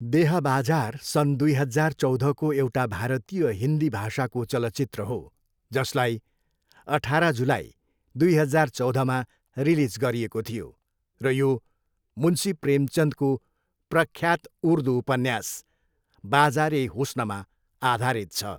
देह बजार सन् दुई हजार चौधको एउटा भारतीय हिन्दी भाषाको चलचित्र हो, जसलाई अठार जुलाई, दुई हजार चौधमा रिलिज गरिएको थियो र यो मुन्शी प्रेमचन्दको प्रख्यात उर्दू उपन्यास बजार ए हुस्नमा आधारित छ।